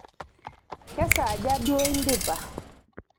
kesaaja duo indipa?